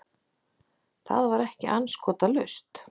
Það var ekki andskotalaust.